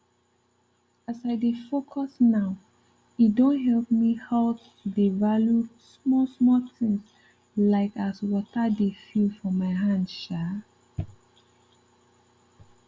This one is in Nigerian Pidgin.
as i dey focus nowe don help me halt to dey value small small things like as water dey feel for my hand um